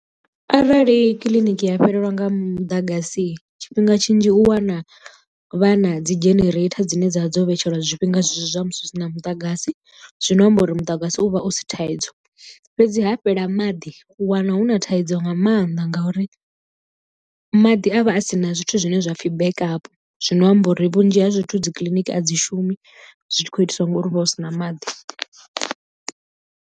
Arali kiḽiniki ya fhelelwa nga muḓagasi tshifhinga tshinzhi u wana vhana dzi jenereitha dzine dza vha dzo vhetshelwa zwifhinga zwinzhi zwa musi husina muḓagasi zwino amba uri muḓagasi u vha u si thaidzo fhedzi ha fhela maḓi u wana hu na thaidzo nga maanḓa ngauri maḓi a vha a si na zwithu zwine zwapfhi backup zwino amba uri vhunzhi ha zwithu dzi kiḽiniki a dzi shumi zwi tshi khou itiswa ngori huvha hu sina maḓi.